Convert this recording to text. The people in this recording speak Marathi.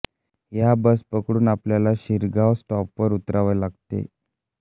या बस पकडून आपल्याला शिरगाव स्टॉपवर उतरावे लागते